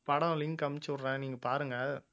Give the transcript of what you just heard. படம் link அனுப்பிச்சு விடுறேன் நீங்க பாருங்க